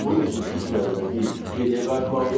Bunun üçün ilk növbədə biz geriyə qayıtmalıyıq.